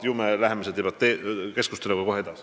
Ju me läheme selle keskusteluga kohe edasi.